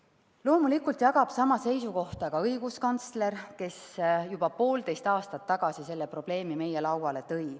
Loomulikult jagab sama seisukohta ka õiguskantsler, kes juba poolteist aastat tagasi selle probleemi meie lauale tõi.